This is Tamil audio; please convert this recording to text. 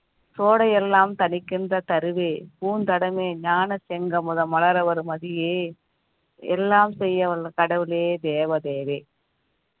கோடை எல்லாம் தணிக்கின்ற தருவே பூந்தடமே ஞான தங்கம் முதல் மலர வரும் மதியே எல்லாம் செய்ய வந்த கடவுளே தேவ தேவி